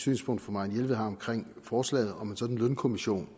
synspunkt fru marianne jelved har omkring forslaget om en sådan lønkommission